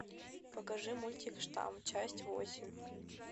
покажи мультик штамм часть восемь